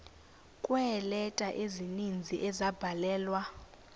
kweeleta ezininzi ezabhalelwa